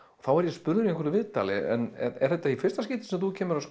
þá var ég spurður í einhverju viðtali er þetta í fyrsta skipti sem þú kemur að